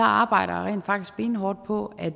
arbejder jeg rent faktisk benhårdt på at